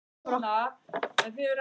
Bæði þrepin voru síðan lækkuð.